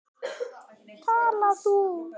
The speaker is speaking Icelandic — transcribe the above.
Tala þú.